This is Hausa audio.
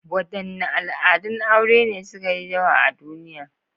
Wadanne al'adun aure ne suka yi yawa a duniya?